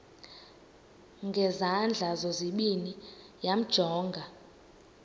ngezandla zozibini yamjonga